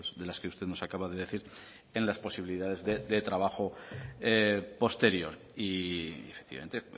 de las que usted nos acaba de decir en las posibilidades de trabajo posterior y efectivamente